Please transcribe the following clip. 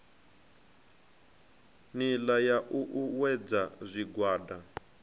nila ya u uuwedza zwigwada